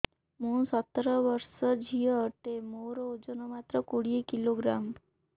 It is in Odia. ମୁଁ ସତର ବର୍ଷ ଝିଅ ଟେ ମୋର ଓଜନ ମାତ୍ର କୋଡ଼ିଏ କିଲୋଗ୍ରାମ